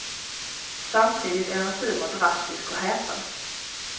Samtidigt är hans humor drastisk och häpen.